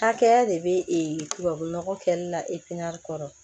Hakɛya de bɛ tubabu nɔgɔ kɛlila kɔrɔ